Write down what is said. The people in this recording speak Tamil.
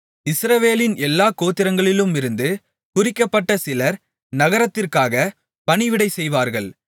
இஸ்ரவேலின் எல்லா கோத்திரங்களிலுமிருந்து குறிக்கப்பட்ட சிலர் நகரத்திற்காகப் பணிவிடை செய்வார்கள்